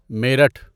Meerut